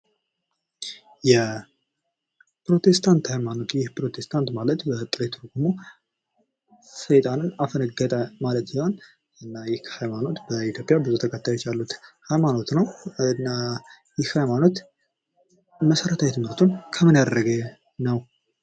የፕሮቴስታንት ሃይማኖት የፕሮቴስታንት ማለት በጥሬ ትርጉሙ ሰይጣንን አፈነገጠ ማለት ሲሆን፤ እና ይህ ሀይማኖት በ ኢትዮጵይ ብዙ ተከታዮች ያሉት ሃይማኖት ነው እና ይህ ሀይማኖት መሠረታዊ ትምህርቱን ከምን ያደረገ ነው?